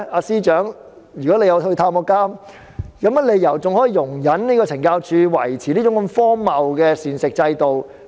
司長，如你曾到監獄探訪，怎可能容忍懲教署維持這種荒謬的膳食制度？